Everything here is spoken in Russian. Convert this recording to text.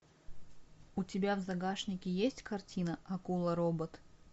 у тебя в загашнике есть картина акула робот